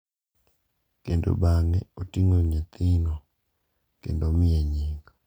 kendo bang’e oting’o nyathino kendo omiye nying.